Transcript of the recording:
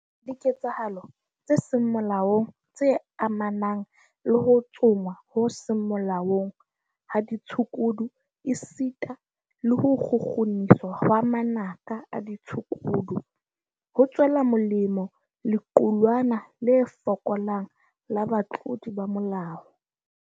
Diketsahalo tse seng molaong tse amanang le ho tsongwa ho seng molaong ha ditshukudu esita le ho kgukguniswa hwa manaka a ditshukudu, ho tswela molemo lequlwana le fokolang la batlodi ba molao.